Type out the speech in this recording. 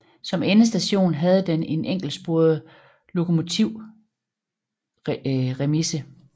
Som endestation havde den en enkeltsporet lokomotivremise